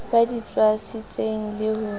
ba di tswasitseng le ho